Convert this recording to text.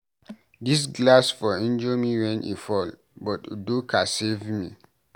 Dis glass for injure me wen e fall, but Udo ka save me.